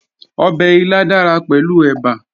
Ọbẹ̀ ilá dára pẹ̀lú ẹ̀bà